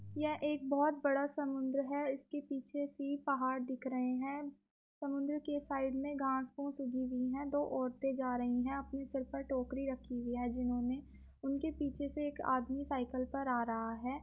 यह एक बहुत बड़ा सा समुन्दर है इसके पीछे से पहाड़ दिख रहे हैं समुन्दर के साइड में घास पुस उगी हुई हैं दो औरते जा रही हैं अपने सर पे टोकरी रखी हुई है जिन्होंने उनके पीछे से एक आदमी साइकिल पर आ रहा है।